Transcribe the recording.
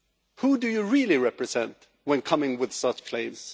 Who do you really represent when coming with such claims?